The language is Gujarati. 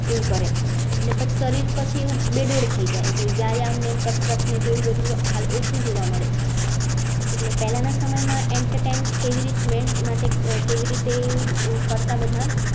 એવું કરે છે શરીર પછી એવું બેદોડ થયી જાય વયંમા નહિ કસરત નહિ બધું હાલ ઓછું જોવા મળે છે એટલે પેલા ના સમય માં entertainment કેવી રીતે કરતા બધા